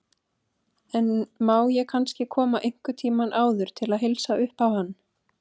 En má ég kannski koma einhvern tíma áður til að heilsa uppá hann.